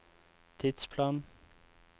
tidsplan